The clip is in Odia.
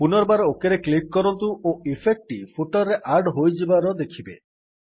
ପୂନର୍ବାର ଓକ୍ ରେ କ୍ଲିକ୍ କରନ୍ତୁ ଓ ଇଫେକ୍ଟ୍ ଟି ଫୁଟର୍ ରେ ଆଡ୍ ହୋଇଥିବାର ଦେଖିବେ